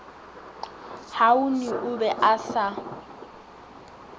huane o be a sa